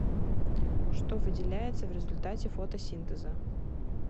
что выделяется в результате фотосинтеза